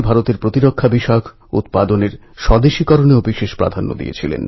ভারতের প্রতি প্রান্তে এইসব সন্ন্যাসী যুগ যুগ ধরে প্রেরণা দিয়ে আসছেন